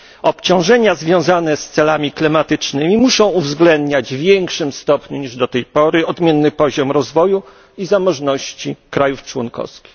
Obciążenia związane z celami klimatycznymi muszą uwzględniać w większym stopniu niż do tej pory odmienny poziom rozwoju i zamożności krajów członkowskich.